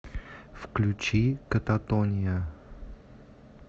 включи кататония